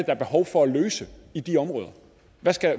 er behov for at løse i de områder